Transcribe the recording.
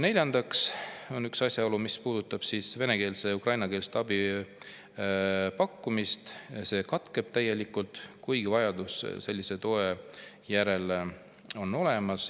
Neljandaks asjaolu, mis puudutab vene- ja ukrainakeelse abi pakkumist – see katkeb täielikult, kuigi vajadus sellise toe järele on olemas.